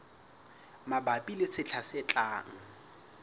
mabapi le sehla se tlang